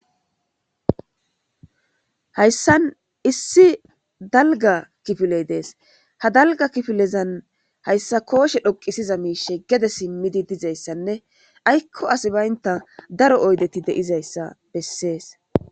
hayssan issi dalga kifiley dees ha dalga kifilezan hayssa kooshe dhoqisiza miishe gede simmidi dizayssanne aykko asi baynta daro oydeti deizayssa bessees